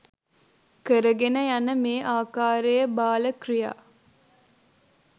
කරගෙන යන මේ ආකාරයේ බාල ක්‍රියා